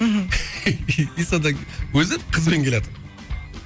мхм содан кейін өзі қызбен келатыр